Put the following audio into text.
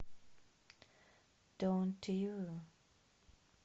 донт ю